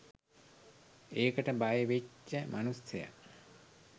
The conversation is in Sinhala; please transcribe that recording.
ඒකට බයවෙච්ච මනුස්සය